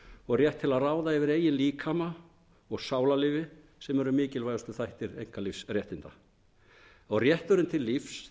og rétt til að ráða yfir eigin líkama og sálarlífi sem eru mikilvægustu þættir einkalífsréttinda rétturinn til lífs